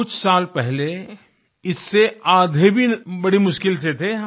कुछ साल पहले इससे आधे भी बड़ी मुश्किल से थे हम